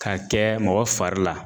K'a kɛ mɔgɔ fari la